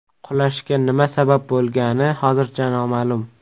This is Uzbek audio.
Qulashga nima sabab bo‘lgani hozircha noma’lum.